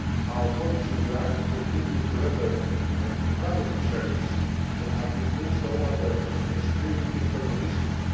Our colleagues in Iraq continue to render an invaluable service and have been doing so under extremely difficult conditions.